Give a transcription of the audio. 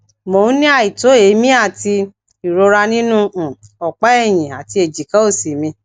mo n ni aito eemi ati ìrora nínú um opa ẹyìn àti ẹjika òsì mi